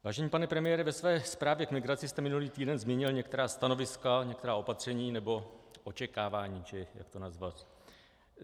Vážený pane premiére, ve své zprávě k migraci jste minulý týden zmínil některá stanoviska, některá opatření nebo očekávání, či jak to nazvat.